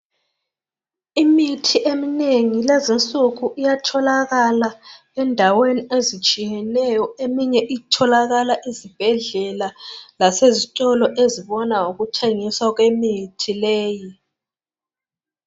Imithi eminengi lezinsuku iyatholakala endaweni ezitshiyeneyo. Eminye itholakala ezibhedlela lasezitolo ezibona ngokuthengiswa kwemithi leyi.